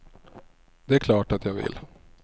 Det är klart att jag vill.